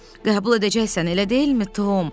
Qəbul edəcəksən, elə deyilmi, Tom?